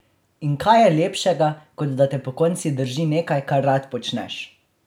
In kaj je lepšega, kot da te pokonci drži nekaj, kar rad počneš?